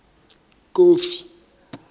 kofi